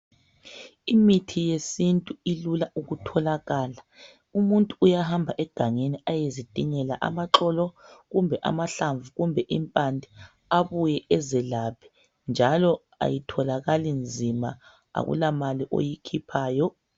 Imithi yesintu ilula ukutholakala umuntu uyahamba egangeni ayezidingela amaxolo kumbe amahlamvu kumbe impande abuye ezelaphe njalo ayitholakali nzima akulamali oyikhiphayo.